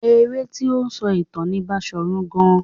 Eré tí ó ń sọ ìtàn ni Baṣòrun Gaa.